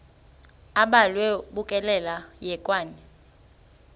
abhalwe bukekela hekwane